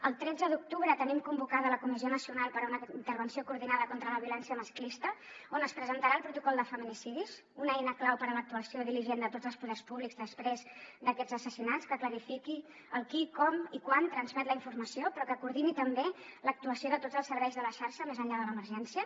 el tretze d’octubre tenim convocada la comissió nacional per a una intervenció coordinada contra la violència masclista on es presentarà el protocol de feminicidis una eina clau per a l’actuació diligent de tots els poders públics després d’aquests assassinats que clarifiqui el qui com i quan transmet la informació però que coordini també l’actuació de tots els serveis de la xarxa més enllà de l’emergència